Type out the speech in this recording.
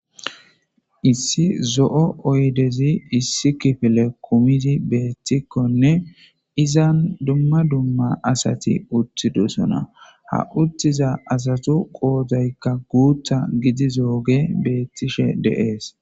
Issi zo'o oydezi issi kifile kumidi betikonne izan dumma dumma asati uttidosona ha uttiza asatu qoodaykka guutha gidizoge betishe de'es.